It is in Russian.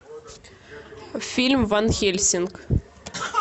фильм ван хельсинг